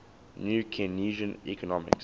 new keynesian economics